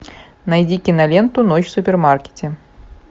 найди киноленту ночь в супермаркете